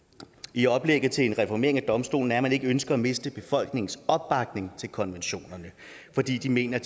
i oplægget til en reformering af domstolen er at man ikke ønsker at miste befolkningens opbakning til konventionerne fordi de mener